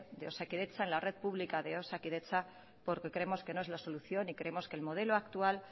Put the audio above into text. de osakidetza en la red pública de osakidetza porque creemos que no es la solución y creemos que el modelo actual